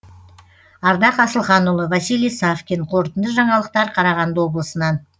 ардақ асылханұлы василий савкин қорытынды жаңалықтар қарағанды облысынан